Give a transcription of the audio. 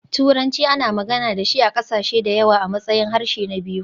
Turanci ana magana da shi a ƙasashe da yawa a matsayin harshe na biyu.